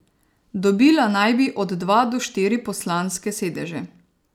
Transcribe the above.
Dobila naj bi od dva do štiri poslanske sedeže.